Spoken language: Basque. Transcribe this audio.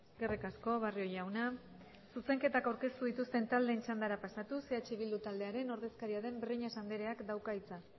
eskerrik asko barrio jauna zuzenketak aurkeztu dituzten taldeen txandara pasatuz eh bildu taldearen ordezkaria den breñas andreak dauka hitza